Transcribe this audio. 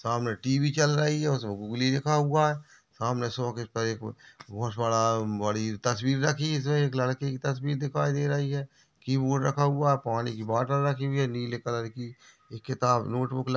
सामने टी.वी चल रही है उसमें गूगली लिखा हुआ है सामने सोफे पर एक बहुत बड़ा बड़ी तस्वीर रखी हुई है लड़के की तस्वीर दिखाई दे रही है की बोर्ड रखा हुआ है पानी की बॉटल रखी हुई है नीले कलर की एक किताब नोट बुक रख --